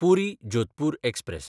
पुरी–जोधपूर express